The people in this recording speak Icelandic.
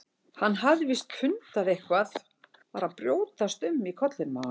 Hann hafði víst fundið að eitthvað var að brjótast um í kollinum á henni.